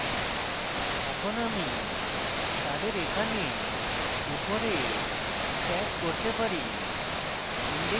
এখন আমি তাদের এখানে উপরে stack করতে পারি